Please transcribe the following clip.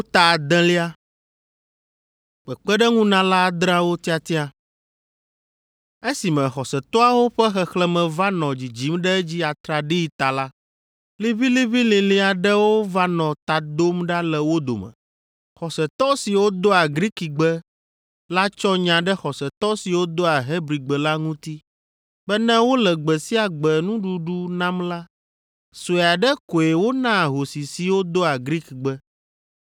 Esime xɔsetɔawo ƒe xexlẽme va nɔ dzidzim ɖe edzi atraɖii ta la, liʋĩliʋĩlilĩ aɖewo va nɔ ta dom ɖa le wo dome. Xɔsetɔ siwo doa Grikigbe la tsɔ nya ɖe xɔsetɔ siwo doa Hebrigbe la ŋuti be ne wole gbe sia gbe nuɖuɖu nam la, sue aɖe koe wonaa ahosi siwo doa Grikgbe.